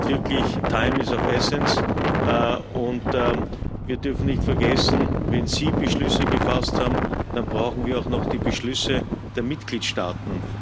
Hier gilt wirklich Time is of the essence, und wir dürfen nicht vergessen Wenn Sie Beschlüsse gefasst haben, dann brauchen wir auch noch die Beschlüsse der Mitgliedstaaten.